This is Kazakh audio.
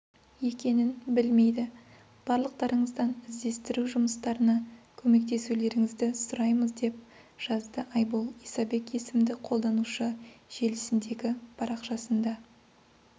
екенін білмейді барлықтарыңыздан іздестіру жұмыстарына көмектесулеріңізді сұраймыз деп жазды айбол исабек есімді қолданушы желісіндегі парақшасында